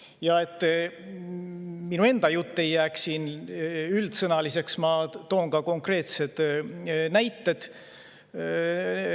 Selleks, et minu enda jutt ei jääks siin üldsõnaliseks, toon ka konkreetsed näited.